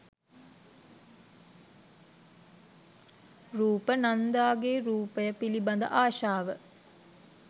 රූප නන්දාගේ රූපය පිළිබඳ ආශාව